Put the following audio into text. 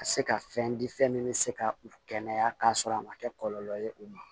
Ka se ka fɛn di fɛn min bɛ se ka u kɛnɛya k'a sɔrɔ a ma kɛ kɔlɔlɔ ye u ma